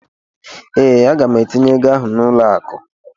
ee, Aga m etinye ego ahụ n'ụlọ akụ